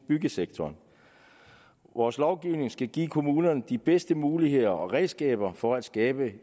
byggesektoren vores lovgivning skal give kommunerne de bedste muligheder og redskaber for at skabe